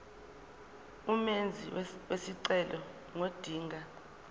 umenzi wesicelo ngodinga